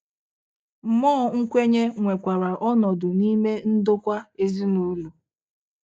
Mụọ nkwenye nwekwara ọnọdụ n'ime ndokwa ezinụlọ